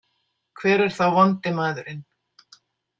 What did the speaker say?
Hver er þá vondi maðurinn?